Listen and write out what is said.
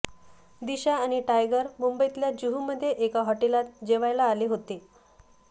दिशा आणि टायगर मुंबईतल्या जुहूमध्ये एका हॉटेलात जेवायला आले होते